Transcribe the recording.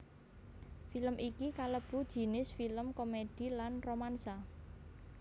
Film iki kalebu jinis film komèdi lan romansa